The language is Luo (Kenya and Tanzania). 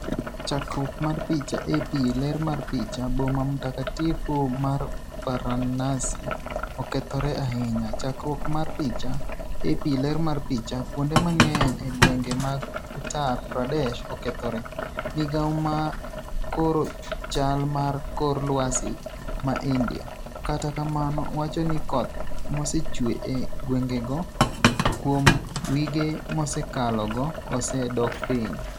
Chakruok mar picha, AP. ler mar picha, Boma mtakatifu mar Varanasi okethore ahinya. Chakruok mar picha, AP. ler mar picha, Kuonde mang'eny e gwenge mag Uttar Pradesh okethore. Migao ma koro chal mar kor lwasi ma India, kata kamano wacho ni koth mosechwe e gwengego kuom wige mosekalogo ose dok piny.